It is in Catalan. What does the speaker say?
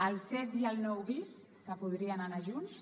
el set i el nou bis que podrien anar junts